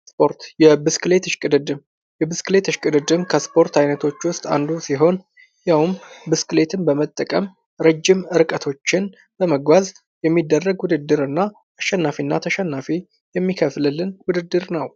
እስፖርት ብስክሌት እሽቅድምድም እስፖርት አይነቶች ውስጥ አንዱ ሲሆን ያውም ብስክሌትን በመጠቀም ረጅም ርቀቶችን በመጓዝ የሚደረግ ውድድር እና አሸናፊና ተሸናፊን የሚከፍልልን ውድድር ነው።